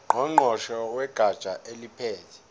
ngqongqoshe wegatsha eliphethe